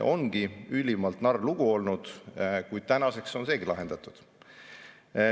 Ongi ülimalt narr lugu olnud, kuid tänaseks on see lahendatud.